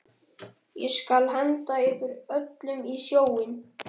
Ég skal henda ykkur öllum í sjóinn!